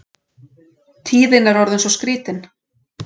Tíðin er orðin svo skrítin.